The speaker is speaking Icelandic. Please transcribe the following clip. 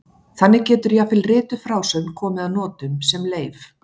Þannig getur jafnvel rituð frásögn komið að notum sem leif.